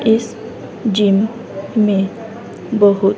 इस जिम में बहुत --